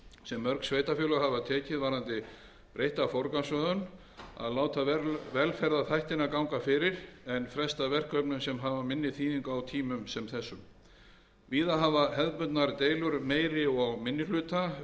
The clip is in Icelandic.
sem mörg sveitarfélög hafa tekið varðandi breytta forgangsröðun að láta velferðarþættina ganga fyrir en fresta verkefnum sem hafa minni þýðingu á tímum sem þessum víða hafa hefðbundnar deilur meiri og minni hluta verið